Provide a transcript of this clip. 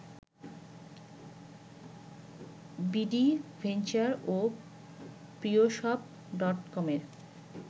BD venture ও প্রিয়শপ ডটকমের